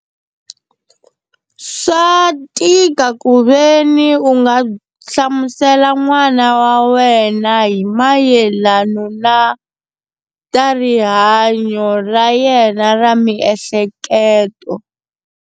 Swa tika ku veni u nga hlamusela n'wana wa wena hi mayelana na ta rihanyo ra yena ra miehleketo.